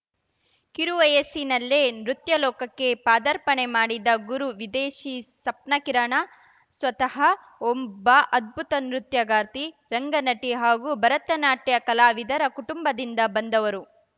ಕಿರುವಯಸ್ಸಿನಲ್ಲೇ ನೃತ್ಯಲೋಕಕ್ಕೆ ಪಾದಾರ್ಪಣೆ ಮಾಡಿದ ಗುರು ವಿದೇಷಿ ಸಪ್ನಾಕಿರಣ ಸ್ವತಃ ಒಂಬ್ಬ ಅದ್ಭುತ ನೃತ್ಯಗಾರ್ತಿ ರಂಗ ನಟಿ ಹಾಗೂ ಭರತನಾಟ್ಯ ಕಲಾವಿದರ ಕುಟುಂಬದಿಂದ ಬಂದವರು